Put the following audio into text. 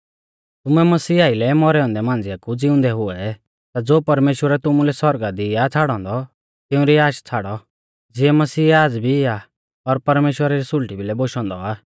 तुमै मसीह आइलै मौरै औन्दै मांझ़िया कु ज़िउंदै हुऐ ता ज़ो परमेश्‍वरै तुमुलै सौरगा दी आ छ़ाड़ौ औन्दौ तिउंरी आश छ़ाड़ौ ज़िऐ मसीह आज़ भी आ और परमेश्‍वरा री सुल़टी बियै बोशौ औन्दौ आ